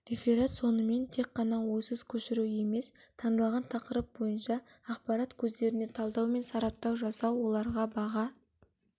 реферат сонымен тек қана ойсыз көшіру емес таңдалған тақырып бойынша ақпарат көздеріне талдау мен сараптау жасау оларға баға